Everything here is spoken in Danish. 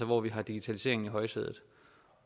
hvor vi har digitaliseringen i højsædet